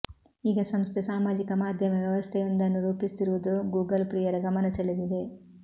ಈಗ ಸಂಸ್ಥೆ ಸಾಮಾಜಿಕ ಮಾಧ್ಯಮ ವ್ಯವಸ್ಥೆಯೊಂದನ್ನು ರೂಪಿಸುತ್ತಿರುವುದು ಗೂಗಲ್ ಪ್ರಿಯರ ಗಮನ ಸೆಳೆದಿದೆ